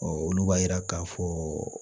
olu b'a yira k'a fɔ